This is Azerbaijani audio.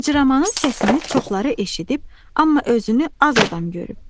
Cırcıramanın səsini çoxları eşidib, amma özünü az adam görüb.